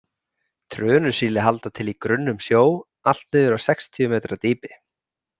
Trönusíli halda til í grunnum sjó allt niður á sextíu metra dýpi.